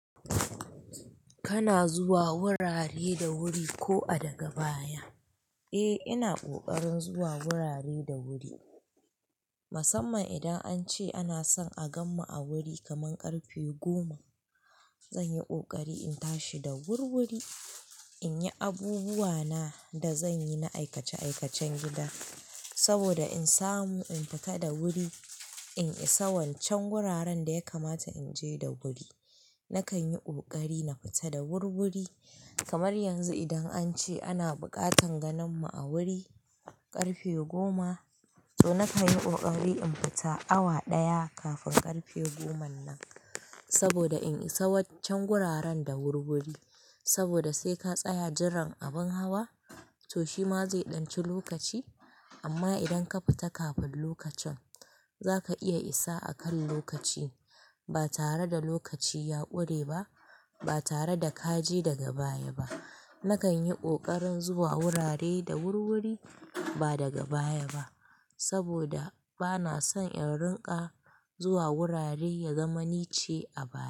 Kana zuwa wurare da wuri ko a daga baya? Eh, ina ƙoƙarin zuwa wurare da wuri. Musamman idan an ce ana son a gan mu a wuri kaman ƙarfe goma, zan yi ƙoƙari in tashi da wurwuri in yi abubuwa na da zan yi na aikace-aikacen gida saboda in samu in fita da wuri in isa waccan wuraren da ya kamata in je da wuri. Nakan yi ƙoƙari na fita da wurwuri. Kamar yanzu idan an ce ana buƙatan ganin mu a wuri ƙarfe goma, to nakan yi ƙoƙari in fita awa ɗaya kafin ƙarfe goman nan saboda in isa waccan wuraren da wurwuri. Saboda sai ka tsaya jiran abin hawa, to shi ma zai ɗanci lokaci. Amma idan ka fita kafin lokacin, zaka iya isa akan lokaci ba tare da lokaci ya ƙure ba, ba tare da ka je daga baya ba. Nakan yi ƙoƙarin zuwa wurare da wurwuri ba daga baya ba saboda ba na son in rinƙa zuwa wurare ya zama nice a baya.